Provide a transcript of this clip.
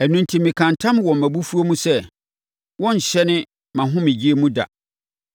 Ɛno enti mekaa ntam wɔ mʼabufuo mu sɛ, ‘Wɔrenhyɛne mʼahomegyeɛ mu da.’ ”